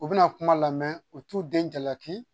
U bɛna kuma lamɛn u t'u den jalaki